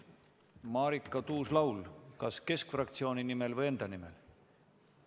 Marika Tuus-Laul, kas Keskerakonna fraktsiooni nimel või enda nimel?